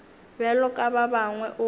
bjalo ka ba bangwe o